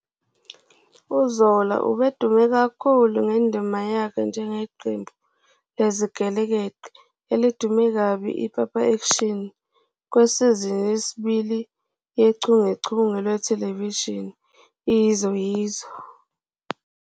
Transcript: UZola ubedume kakhulu ngendima yakhe njengeqembu lezigelekeqe elidume kabi iPapa Action kwisizini yesibili yochungechunge lwethelevishini "iYizo Yizo."